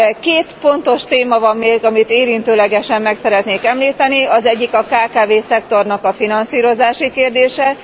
Két fontos téma van még, amelyet érintőlegesen meg szeretnék említeni. Az egyik a kkv szektor finanszírozási kérdése.